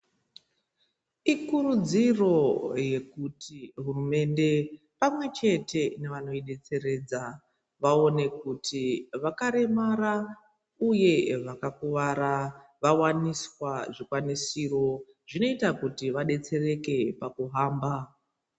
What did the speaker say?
Ikurudziro yekuti hurumende pamwechete nevanoidetseredza vaone kuti vakaremara uye vakakuwara vawaniswa zvikwanisiro zvinoita kuti vadetsereke pakuhamba.